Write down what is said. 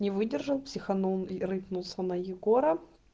не выдержал психанул и рыкнулся на егора